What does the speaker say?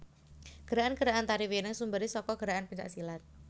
Gerakan gerakan Tari Wireng sumberé saka gerakan pencak silat